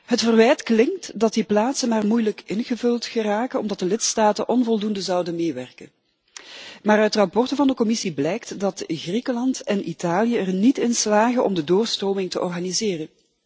Het verwijt klinkt dat die plaatsen maar moeilijk ingevuld geraken omdat de lidstaten onvoldoende zouden meewerken, maar uit verslagen van de Commissie blijkt dat Griekenland en Italië er niet in slagen om de doorstroming te organiseren.